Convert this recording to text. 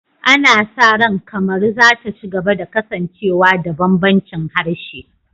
Ana sa ran Kamaru za ta ci gaba da kasancewa da bambancin harshe